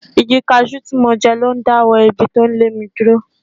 Igi cashew tí mo jẹ lo dáwọ́ èébì tó ń lé mi dúró.